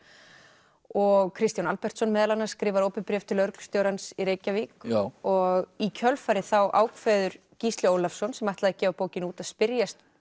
og Kristján Albertsson meðal annars skrifar opið bréf til lögreglustjórans í Reykjavík og í kjölfarið þá ákveður Gísli Ólafsson sem ætlaði að gefa bókina út að spyrjast